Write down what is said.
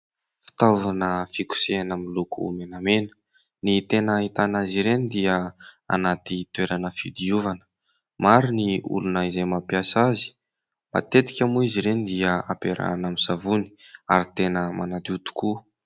Fitaovana fikosehana miloko menamena. Ny tena ahitana azy ireny dia anaty toerana fidiovana. Maro ny olona izay mampiasa azy. Matetika moa izy ireny dia ampiarahina amin'ny savony ary tena manadio tokoa.